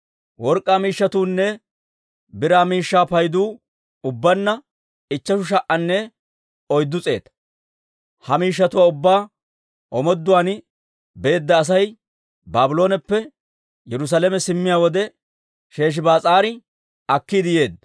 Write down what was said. Work'k'aa miishshatuunne biraa miishshaa paydu ubbaanna ichcheshu sha"anne oyddu s'eeta; ha miishshatuwaa ubbaa omooduwaan beedda Asay Baablooneppe Yerusaalame simmiyaa wode Sheshibaas'aari akkiide yeedda.